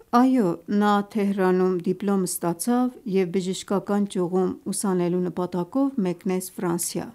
Այո, նա Թեհրանում դիպլոմ ստացավ և բժշկական ճյուղում ուսանելու նպատակով մեկնեց Ֆրանսիա: